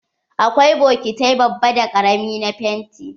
Akwai bokitai babba da ƙarami na fenti.